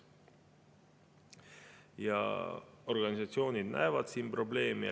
Ja organisatsioonid näevad siin probleemi.